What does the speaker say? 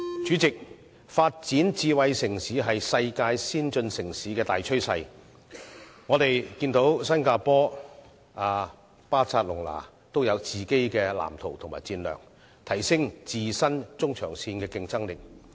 主席，發展智慧城市是世界先進城市的大趨勢，我們看到新加坡、巴塞隆拿均有各自的藍圖及戰略，提升中長線的競爭力。